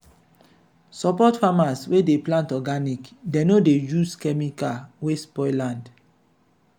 support farmers wey dey plant organic dem no dey use chemical wey spoil land.